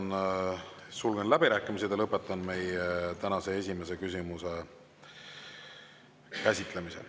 Ma sulgen läbirääkimised ja lõpetan meie tänase esimese käsitlemise.